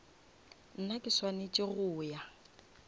nna ke swanetse go ya